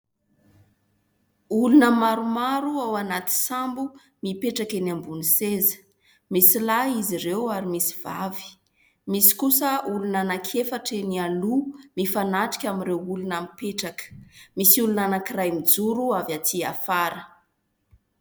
Olona maromaro ao anaty sambo mipetraka eny ambony seza, misy lahy izy ireo ary misy vavy, misy kosa olona anankiefatra eny aloha mifanatrika amin'ireo olona mipetraka, misy olona anankiray mijoro avy aty afara.